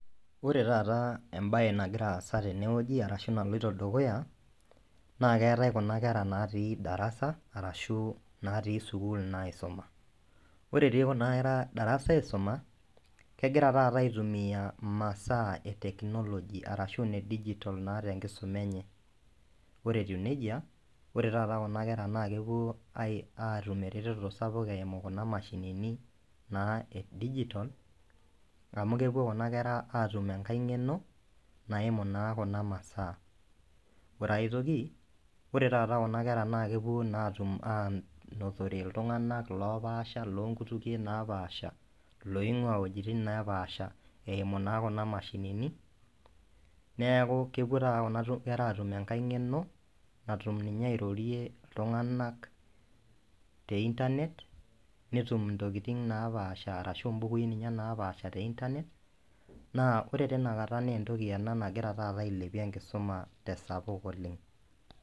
Ore taata embaye nagira aasa tenewueji arashu naloito dukuya naa keetae kuna kera natii darasa arashu natii sukuul naa aisuma ore etiin kuna kera darasa aisuma kegira taata aitumia imasaa e technology arashu ine digital naa tenkisuma enye ore etiu nejia ore taata kuna kera naa kepuo ai aatum eretoto sapuk eimu kuna mashinini naa e digital amu kepuo kuna kera atum enkae ng'eno naimu naa kuna masaa ore aetoki ore taata kuna kera naa kepuo naa atum anotore iltung'anak lopaasha lonkutukie napaasha loing'ua iwuejitin napaasha eimu naa kuna mashinini neeku kepuo taata kuna kera atum enkae ng'eno natum ninye airorie iltung'anak te internet netum intokiting napaasha arashu imbukui ninye napaasha te internet naa ore teina kata nentoki ena nagira taata ailepie enkisuma tesapuk oleng.